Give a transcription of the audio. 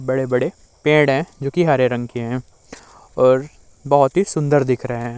बड़े-बड़े पेड़ हैं जोकि हरे रंग के है और बहोत ही सुंदर दिख रहे हैं।